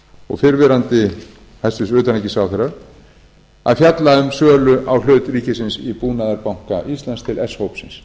og fyrrverandi hæstvirtur utanríkisráðherra að fjalla um sölu á hlut ríkisins í búnaðarbanka íslands til s hópsins